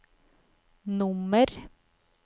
nummer